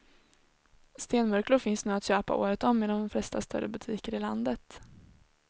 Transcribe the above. Stenmurklor finns nu att köpa året om i de flesta större butiker i landet.